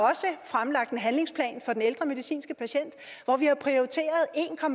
fremlagt en handlingsplan for ældre medicinske patienter hvor vi har prioriteret